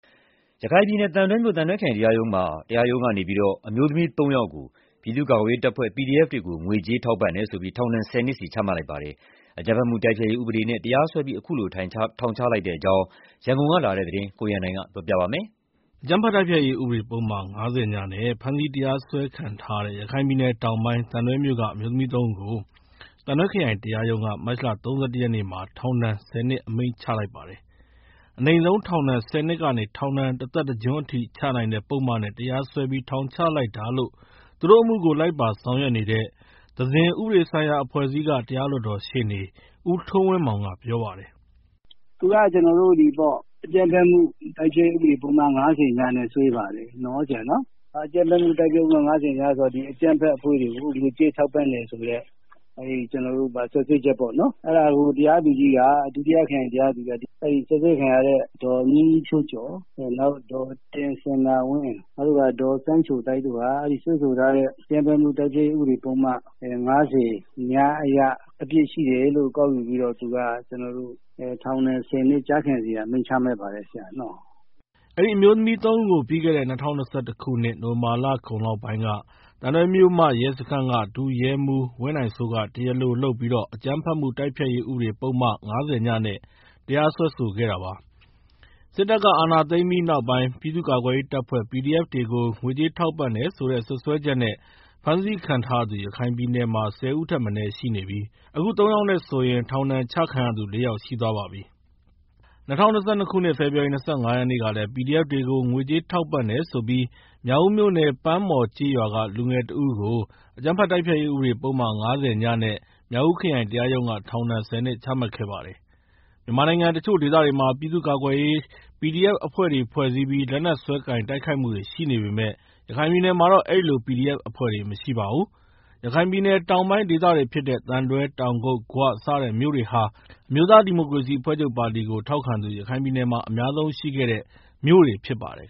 ရခိုင်ပြည်နယ် သံတွဲမြို့ သံတွဲခရိုင်တရားရုံးက အမျိုးသမီး ၃ ယောက်ကို ပြည်သူ့ကာကွယ်ရေးတပ်ဖွဲ့ PDF တွေကို ငွေကြေး ထောက်ပံ့တယ်ဆိုပြီး ထောက်ဒဏ် ၁၀ နှစ် ချမှတ်လိုက်ပါတယ်။ အကြမ်းဖက်မှုတိုက်ဖျက်ရေး ဥပဒေနဲ့ တရားစွဲပြီး ခုလို ထောင်ဒဏ်ချလိုက်တဲ့အကြောင်း ရန်ကုန်ကလာတဲ့ သတင်းကို ကိုရန်နိုင်က တင်ပြပေးထားပါတယ်။ အကြမ်းဖက်မှုတိုက်ဖျက်ရေးဥပဒေ ပုဒ်မ ၅၀ (ည) နဲ့ ဖမ်းဆီးတရားစွဲခံထားရတဲ့ ရခိုင်ပြည်နယ်တောင်ပိုင်း သံတွဲမြို့က အမျိုးသမီး ၃ ဦးကို သံတွဲခရိုင် တရားရုံးက မတ်လ ၃၁ ရက်နဲ့ ထောင်ဒဏ် ၁၀ နှစ်အမိန့်ချ လိုက်ပါတယ်။ အနိမ့်ဆုံးပြစ်ဒဏ် ၁၀ နှစ်ကနေ ထောင်ဒဏ် တသက်တကျွန်းချနိုင်တဲ့ ပုဒ်မနဲ့ တရားစွဲပြီး ထောင်ချလိုက်တာလို့ သူတို့အမှုကို လိုက်ပါဆောင်ရွက်နေတဲ့ သဇင် ဥပဒေဆိုင်ရာ အဖွဲ့အစည်းက တရားလွှတ်တော်ရှေ့နေ ဦးထွန်းဝင်းမောင်က ပြောပြပါတယ်။ “အကြမ်းဖက်မှု တိုက်ဖျက်ရေးဥပဒေပုဒ်မ ၅၀ (ည) နဲ့ စွဲတာပေါ့။ အကြမ်းဖက်အဖွဲ့တွေကို ငွေကြေးထောက်ပံ့တယ်ဆိုပြီးတော့ စွပ်စွဲချက်ပေါ့နော်၊ အဲဒါကို တရားသူကြီးက စွပ်စွဲခံရတဲ့ ဒေါ်မြင့်မြင့်ဖြိုးကျော်၊ ဒေါ်တင်စန္ဒာဝင်း၊ နောက်ပြီးတော့ ဒေါ်စန်းချိုသိုက်တို့ကို အဲဒီစွဲဆိုထားတဲ့ အကြမ်းဖက်မှု တိုက်ဖျက်ရေးဥပဒေပုဒ်မ ၅၀ (ည) အရ အပြစ်ရှိတယ်လို့ ကောက်ယူပြီးတော့ သူက ထောက်ဒဏ် ၁၀ နှစ် ကျခံစေရန်အမိန့်ချပါတယ်။” အဲဒီအမျိုးသမီး ၃ ဦးကို ပြီးခဲ့တဲ့ ၂၀၂၁ခုနှစ် နိုဝင်ဘာလအကုန်ပိုင်းလောက်က သံတွဲမြို့မရဲစခန်းက ဒုရဲမှူးဝင်းနိုင်စိုးက တရားလိုလုပ်ပြီး အကြမ်းဖက်မှုတိုက်ဖျက်ရေး ဥပဒေပုဒ်မ ၅၀ (ည) နဲ့ တရားစွဲဆိုခဲ့တာပါ။ စစ်တပ်က အာဏာသိမ်းပြီးနောက်ပိုင်း ပြည်သူ့ကာကွယ်ရေးတပ်ဖွဲ့ PDF တွေကို ငွေကြေး ထောက်ပံ့တယ်ဆိုတဲ့စွပ်စဲချက်နဲ့ ဖမ်းဆီးခံထားရသူ ရခိုင်ပြည်နယ်မှာ ၁၀ ဦးထက်မနည်း ရှိနေပြီး အခု ၃ ယောက်နဲ့ဆိုရင် ထောင်ဒဏ်ပြစ်ဒဏ်ချခံရသူ ၄ ယောက်ရှိသွားပါပြီ။ ၂၀၂၂ ခုနှစ် ဖေဖော်ရီလ ၂၅ ရက်နေ့ကလည်း PDF တွေကို ငွေကြေးထောက်ပံ့တယ်ဆိုပြီး မြောက်ဦးမြို့နယ် ပန်းမော်ကျေးရွာက လူငယ်တဦးကိုလည်း အကြမ်းဖက်တိုက်ဖျက်ရေး ဥပဒေပုဒ်မ ၅၀ (ည)နဲ့ မြောက်ဦး ခရိုင်တရားရုံးက ထောင်ဒဏ် ၁၀နှစ် ချမှတ်ခဲ့ပါတယ်။ မြန်မာနိုင်ငံတချို့ဒေသတွေမှာ ပြည်သူူ့ကာကွယ်ရေး PDF အဖွဲ့တွေ ဖွဲ့စည်းပြီး လက်နက်စွဲကိုင် တိုက်ခိုက်မှုတွေ ရှိနေပေမယ့် ရခိုင်ပြည်နယ်မှာတော့ အဲဒီလို PDF အဖွဲ့တွေ မရှိပါဘူး။ ရခိုင်ပြည်နယ် တောင်ပိုင်းဒေသတွေဖြစ်တဲ့ သံတွဲ၊ တောင်ကုတ်၊ ဂွ စတဲ့မြို့တွေဟာ အမျိုးသားဒီမိုကရေစီအဖွဲ့ချုပ်ပါတီကို ထောက်ခံသူ ရခိုင်ပြည်နယ်မှာ အများဆုံးရှိခဲ့တဲ့ မြို့တွေဖြစ်ပါတယ်